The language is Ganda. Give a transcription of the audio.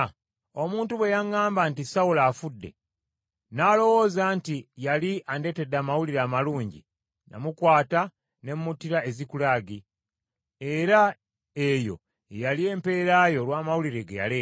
omuntu bwe yaŋŋamba nti, ‘Sawulo afudde,’ n’alowooza nti yali andetedde amawulire amalungi, namukwata ne muttira e Zikulagi, era eyo ye yali empeera ye olw’amawulire ge yaleeta.